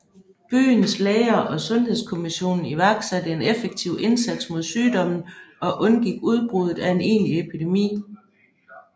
Byens læger og Sundhedskommission iværksatte en effektiv indsats mod sygdommen og undgik udbruddet af en egentlig epidemi